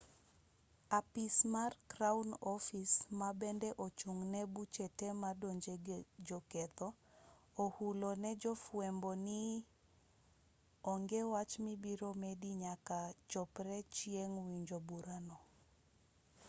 apis mar crown office ma bende ochung' ne buche te modonjego joketho ohulo ne jofwambo ni onge wach mibiro medi nyaka chopre chieng' winjo burano